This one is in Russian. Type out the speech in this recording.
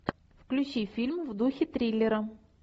включи фильм в духе триллера